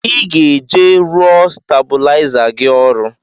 I ga-eje rụọ stabuliza gị ọrụ!!